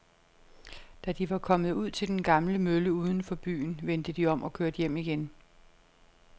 Da de var kommet ud til den gamle mølle uden for byen, vendte de om og kørte hjem igen.